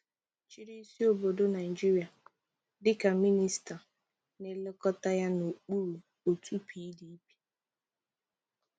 Chị́rị́ ísí obodo Naịjirịa dịka Mịnịsta na-elekọta ya n'okpuru òtù PDP.